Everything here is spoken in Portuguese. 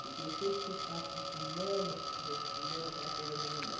Porque eu sei que você está com fulana, porque você saiu com fulana, aquela coisa de mulher.